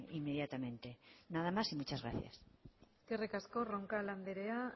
inmediatamente nada más y muchas gracias eskerrik asko roncal andrea